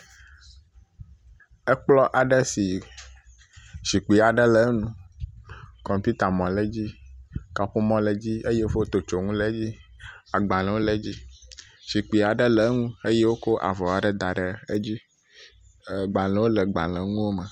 Ekplɔ̃ aɖe si zikpi aɖe le eŋu. kɔmpiutamɔ̃ le edzi. Kaƒomɔ le edzi eye fotsonu le edzi. Agbalẽwo le dzi, zikpi aɖe le eŋu eye wokɔ avɔ aɖe da ɖe edzi. ɛɛ gbalẽwo le gbalẽŋuwome.